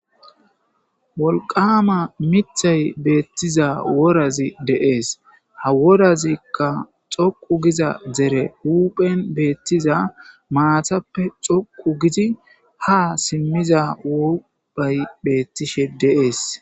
Wolqama mithay beettiza worazi deees ha worazikka xoqu giza dere huphen beettiza maatappe xoqu gidi ha simmiza wubay beettishe deees.